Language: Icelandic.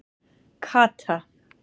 Kata